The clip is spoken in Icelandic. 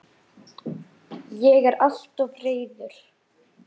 Ég er alltof reiður.